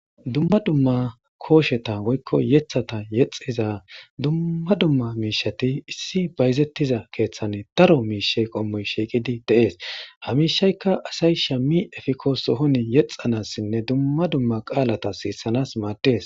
Duma duma kosheta woyko yetata yexiza duma duma mishati issi bayzetiza kethani daro mishi qomoy shiqidi de'es ha mishayka asay shami efiko sohoni yexanasine duma duma qalata sisanas mades.